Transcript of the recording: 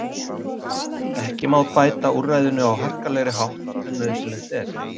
Ekki má beita úrræðinu á harkalegri hátt en nauðsynlegt er.